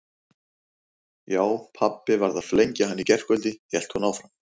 Já, pabbi varð að flengja hann í gærkvöldi hélt hún áfram.